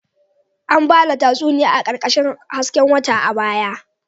An ba da tatsuniyoyi a ƙarƙashin hasken wata a baya